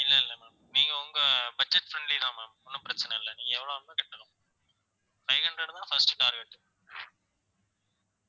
இல்லை இல்லை ma'am நீங்க உங்க budget friendly தான் ma'am ஒண்ணும் பிரச்சனை இல்லை நீங்க five hundred தான் first target